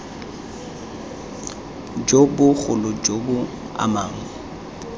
jo bogolo jo bo amang